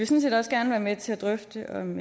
set også gerne være med til at drøfte om